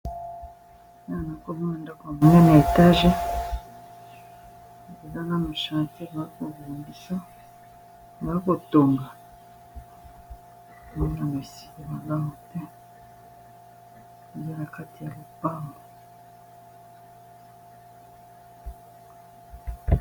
Awa na nazomona ndako ya monene ya etage eza nanu chantier bazokotonga mana mo esika magau mpe eza na kati ya lopango